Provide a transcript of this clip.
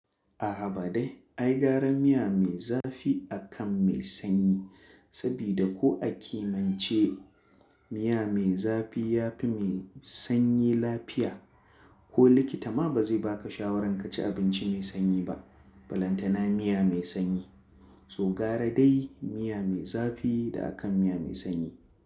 A haba dai, ai gara miya mai zafi akan mai sanyi sabida ko a kimiyiyyance miya mai zafi yafi mai sanyi lafiya. Ko likita ma ba zai baka shawaran kaci abinci mai sanyi ba, ba lantana miya mai sanyi. So gara dai miya mai zafi da akan miya mai sanyi.